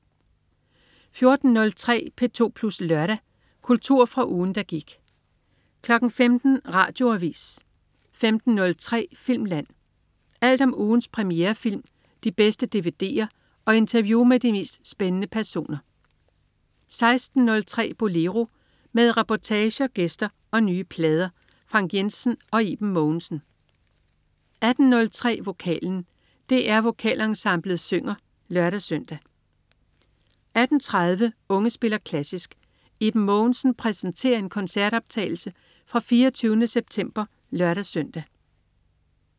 14.03 P2 Plus Lørdag. Kultur fra ugen, der gik 15.00 Radioavis 15.03 Filmland. Alt om ugens premierefilm, de bedste dvd'er og interview med de mest spændende personer 16.03 Bolero. Med reportager, gæster og nye plader. Frank Jensen og Iben Mogensen 18.03 Vokalen. DR Vokalensemblet synger (lør-søn) 18.30 Unge spiller klassisk. Iben Mogensen præsenterer en koncertoptagelse fra 24. september (lør-søn)